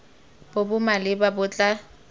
bo bo maleba bo tla